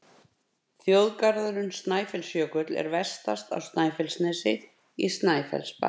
Þjóðgarðurinn Snæfellsjökull er vestast á Snæfellsnesi, í Snæfellsbæ.